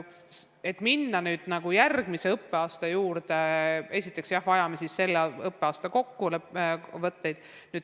Et minna järgmise õppeaasta kavandamise juurde, me vajame kõigepealt selle õppeaasta kokkuvõtteid.